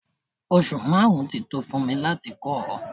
Oṣù márùn-ún tí tó fún mi láti kọ́ ọ.